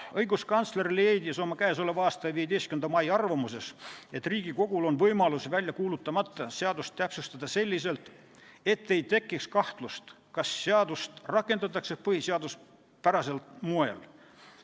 Õiguskantsler leidis oma k.a 15. mai arvamuses, et Riigikogul on võimalus väljakuulutamata seadust täpsustada selliselt, et ei tekiks kahtlust, kas seadust rakendatakse põhiseaduspärasel moel.